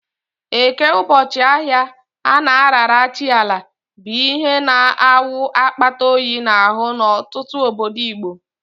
Eke, ụbọchị ahịa a na-arara chi Ala, bụ ihe na-awụ akpata oyi n'ahụ n'ọtụtụ obodo Igbo.